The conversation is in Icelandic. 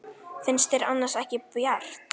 Finnst þér annars ekki bjart?